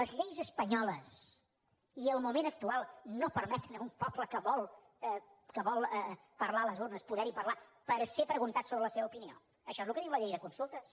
les lleis espanyoles i el moment actual no permeten a un poble que vol parlar a les urnes poder hi parlar per ser preguntat sobre la seva opinió això és el que diu la llei de consultes